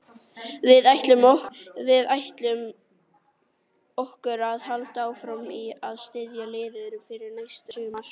Við ætlum okkur að halda áfram að styrkja liðið fyrir næsta sumar.